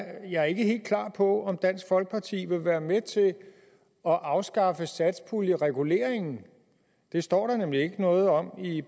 jeg ikke er helt klar over om dansk folkeparti vil være med til at afskaffe satspuljereguleringen det står der nemlig ikke noget om i